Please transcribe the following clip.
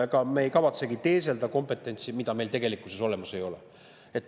Ega me ei kavatsegi teeselda kompetentsi, mida meil olemas ei ole.